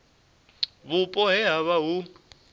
vhupo he ha vha hu